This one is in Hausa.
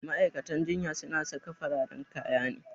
Ma'aikatan jinya su na saka fararen kaya ne